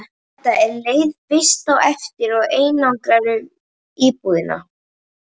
Edda er leið fyrst á eftir og eigrar um íbúðina.